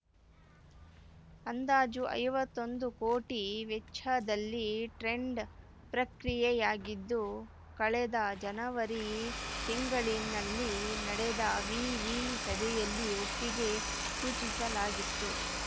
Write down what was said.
ಅಂದಾಜು ಐವತ್ತೊಂದು ಕೋಟಿ ವೆಚ್ಚದಲ್ಲಿ ಟೆಂಡರ್‌ ಪ್ರಕ್ರಿಯೆಯಾಗಿದ್ದು ಕಳೆದ ಜನವರಿ ತಿಂಗಳಿನಲ್ಲಿ ನಡೆದ ವಿವಿ ಸಭೆಯಲ್ಲಿ ಒಪ್ಪಿಗೆ ಸೂಚಿಸಲಾಗಿತ್ತು